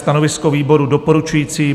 Stanovisko výboru: doporučující.